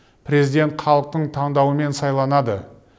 президент халықтың таңдауымен сайланады